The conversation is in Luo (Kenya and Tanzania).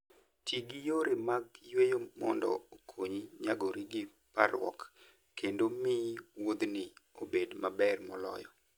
Ti gi yore mag yueyo mondo okonyi nyagori gi parruok kendo miyo wuodhni obed maber moloyo.